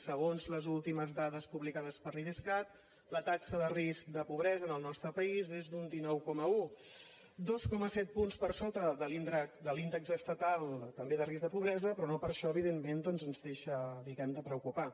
segons les últimes dades publicades per l’idescat la taxa de risc de pobresa en el nostre país és d’un dinou coma un dos coma set punts per sota de l’índex estatal també de risc de pobresa però no per això evidentment doncs ens deixa diguem ne de preocupar